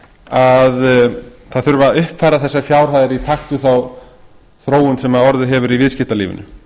að það þurfi að uppfæra þessar fjárhæðir í takt við þá þróun sem orðið hefur í viðskiptalífinu